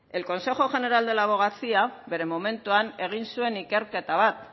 el consejo general de la abogacía bere momentuan egin zuen ikerketa bat